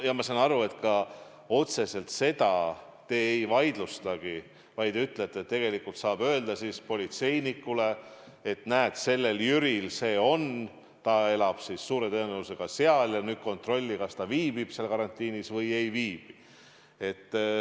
Ja ma saan aru, et otseselt seda te ei vaidlustagi, vaid te ütlete, et tegelikult saab öelda politseinikule, et näed, kontrolli, kas see Jüri, kes elab suure tõenäosusega seal, viibib seal karantiinis või ei viibi.